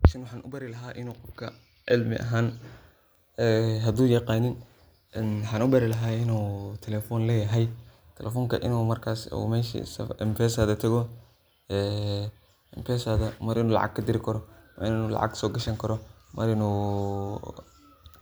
Meshan waxan ubari laha inu qofka cilmi ahan ee hadu yaqanin en waxan ubari lahay inu telephone leyahay telefonka inu marksi meshi mpsa tago, ee impesadha mar inu lacag kadiri karo, wa inu lacag sogashani karo, wa inu